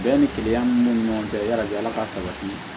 Bɛɛ ni keleya min be ɲɔgɔn cɛ yalajɛ ala ka sabati